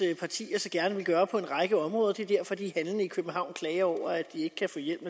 partier så gerne vil gøre på en række områder det er derfor de handlende i københavn klager over at de ikke kan få hjælp